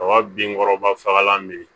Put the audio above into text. Kaba binkɔrɔba fagalan bɛ yen